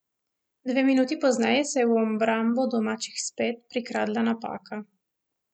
Dve minuti pozneje se je v obrambo domačih spet prikradla napaka.